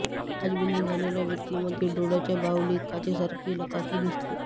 काचबिंदू झालेल्या व्यक्तीमध्ये डोळ्याच्या बाहुलीत काचेसारखी लकाकी दिसते